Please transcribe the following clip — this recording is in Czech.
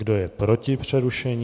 Kdo je proti přerušení?